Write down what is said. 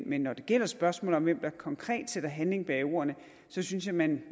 men når det gælder spørgsmålet om hvem der konkret sætter handling bag ordene så synes jeg man